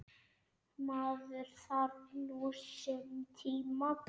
Maður þarf nú sinn tíma.